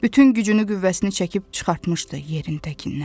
Bütün gücünü qüvvəsini çəkib çıxartmışdı yerin təkindən.